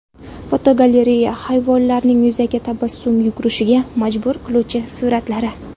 Fotogalereya: Hayvonlarning yuzga tabassum yugurishiga majbur qiluvchi suratlari.